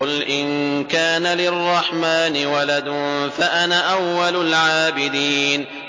قُلْ إِن كَانَ لِلرَّحْمَٰنِ وَلَدٌ فَأَنَا أَوَّلُ الْعَابِدِينَ